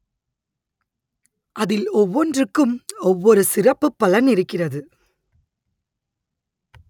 அதில் ஒவ்வொன்றுக்கும் ஒவ்வொரு சிறப்பு பலன் இருக்கிறது